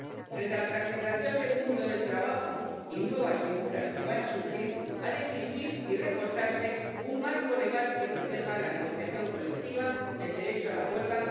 Frente a la fragmentación del mundo del trabajo y nuevas figuras que van a surgir, ha de existir y reforzarse un marco legal que proteja la negociación colectiva y el derecho a la huelga